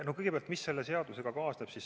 Kõigepealt sellest, mis selle seadusega kaasneb.